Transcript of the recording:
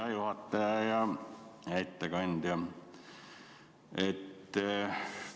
Hea juhataja ja ettekandja!